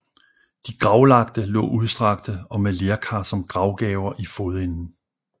De gravlagte lå udstrakte og med lerkar som gravgaver i fodenden